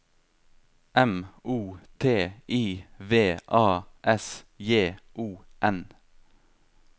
M O T I V A S J O N